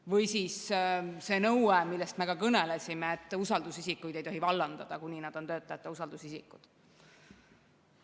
Või siis see nõue, millest me kõnelesime, et usaldusisikuid ei tohi vallandada, kuni nad on töötajate usaldusisikud.